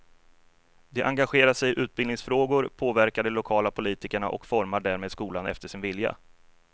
De engagerar sig i utbildningsfrågor, påverkar de lokala politikerna och formar därmed skolan efter sin vilja.